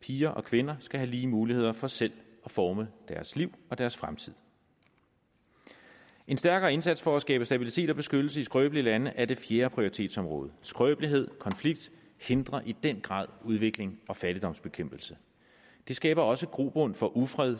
piger og kvinder skal have lige muligheder for selv at forme deres liv og deres fremtid en stærkere indsats for at skabe stabilitet og beskyttelse i skrøbelige lande er det fjerde prioritetsområde skrøbelighed og konflikt hindrer i den grad udvikling og fattigdomsbekæmpelse det skaber også grobund for ufred